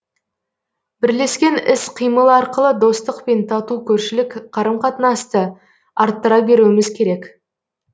бірлескен іс қимыл арқылы достық пен тату көршілік қарым қатынасты арттыра беруіміз керек